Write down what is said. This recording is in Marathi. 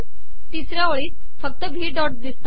ितसऱया ओळीत फकत वही डॉट िदसत आहे